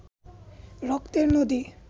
রক্তের নদী